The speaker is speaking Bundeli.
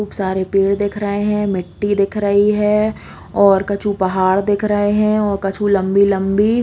खूब सारे पेड़ दिख रहे है मिटटी दिख रहे है और कछु पहाड़ दिख रहे है और कछु लम्बी-लम्बी --